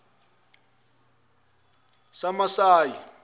samasayi